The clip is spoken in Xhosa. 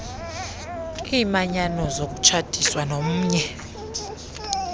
iimanyano zokutshatiswa nomnye